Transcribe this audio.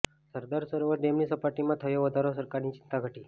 સરદાર સરોવર ડેમની સપાટીમાં થયો વધારો સરકારની ચિંતા ઘટી